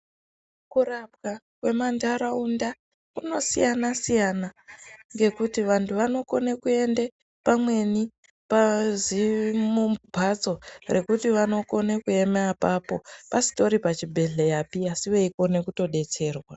Kurapwa kwemandaraunda zvinosiyana siyana ngekuti vantu vanokonekuenda pamweni pazimbatso rekuti vanokona kuema apapo pasitori pachibhedhlera pii asi vanokone kudetserwa.